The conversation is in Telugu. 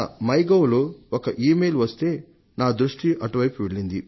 in సైట్ లో ఒక ఇమెయిల్ వస్తే నా దృష్టి అటు వైపు వెళ్లింది